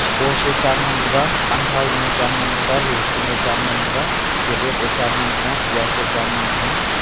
cous e chan ngan taiga anthai chan ngan taiga losun e chan ngan taiga cadot cha ngan tai ga pias e cha ngan tai ga.